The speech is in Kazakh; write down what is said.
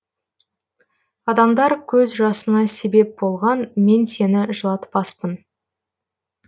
адамдар көз жасыңа себеп болған мен сені жылатпаспын